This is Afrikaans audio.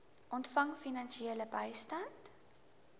ontvang finansiële bystand